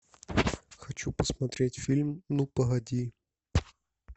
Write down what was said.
хочу посмотреть фильм ну погоди